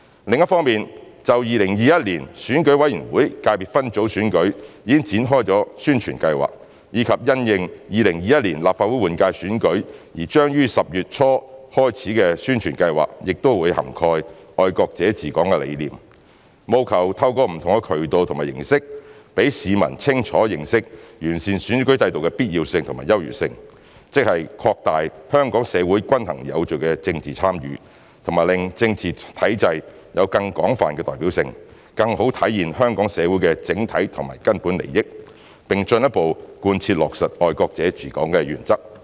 另一方面，就2021年選舉委員會界別分組選舉已展開的宣傳計劃，以及因應2021年立法會換屆選舉而將於10月初開始的宣傳計劃，亦會涵蓋"愛國者治港"的理念，務求透過不同的渠道和形式讓市民清楚認識完善選舉制度的必要性和優越性，即擴大香港社會均衡有序的政治參與和令政治體制有更廣泛代表性，更好地體現香港社會的整體和根本利益，並進一步貫徹落實"愛國者治港"的原則。